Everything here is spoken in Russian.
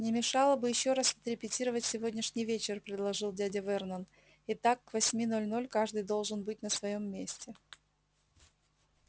не мешало бы ещё раз отрепетировать сегодняшний вечер предложил дядя вернон итак к восьми ноль-ноль каждый должен быть на своём месте